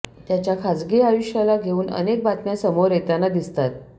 त्याच्या खासगी आयुष्याला घेऊन अनेक बातम्या समोर येताना दिसतात